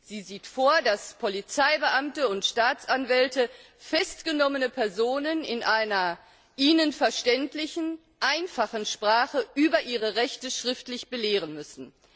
Sie sieht vor, dass Polizeibeamte und Staatsanwälte festgenommene Personen in einer ihnen verständlichen, einfachen Sprache über ihre Rechte schriftlich belehren müssen.